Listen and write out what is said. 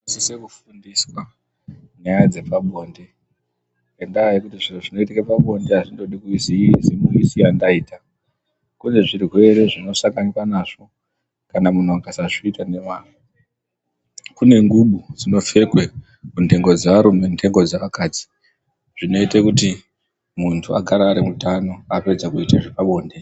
Tinosise kufundiswa nyaya dzepabonde ngenyaya yekuti zvinoitika pabonde hazvindodi kuite zimusiya ndaita kune zvirwere zvinosanganikwa nazvo kana munhu akasazviita nemwazvo kune ngubo dzinopfekwa kundengo dzearume nendengo dzeakadzi zvinoite kuti muntu agare ari mutano apedza kuite zvepabonde.